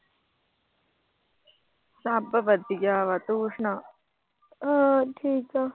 ਸਭ ਵਧੀਆ ਵਾ। ਤੂੰ ਸੁਣਾ। ਹਾਂ ਠੀਕ ਆ।